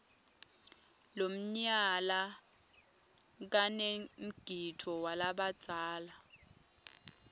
lomnyala kanemgidvo walabadzala